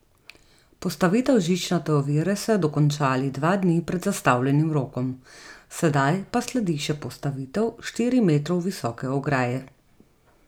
Postavitev žičnate ovire so dokončali dva dni pred zastavljenim rokom, sedaj pa sledi še postavitev štiri metrov visoke ograje.